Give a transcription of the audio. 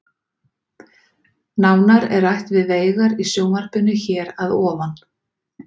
Nánar er rætt við Veigar í sjónvarpinu hér að ofan.